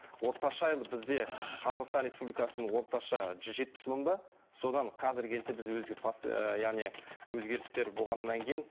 орташа бізде қазақстан республикасының орташа жүз жетпіс мың ба содан қазіргі кезде біз яғни өзгерістер болғаннан кейін